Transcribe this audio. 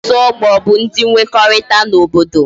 Otu ogbo bu udi mwekorita na obodo